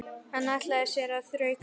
Hann ætlaði sér að þrauka.